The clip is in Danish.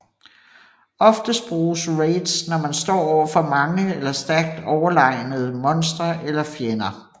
Oftest bruges raids når man står over for mange eller stærkt overlegnede monstre eller fjender